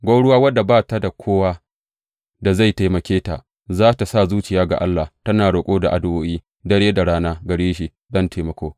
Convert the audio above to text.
Gwauruwa wadda ba ta da kowa da zai taimake ta, za tă sa zuciyarta ga Allah, tana roƙo da addu’o’i dare da rana gare shi don taimako.